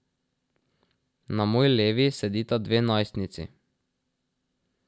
Na moji levi sedita dve najstnici.